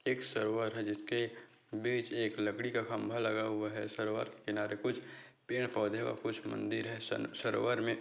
एक सरोवर है जिसके बीच एक लकड़ी का खंबा लगा हुआ है सरोवर के किनारे कुछ पेड़ पौधे और कुछ मंदिर है स सरोवर में --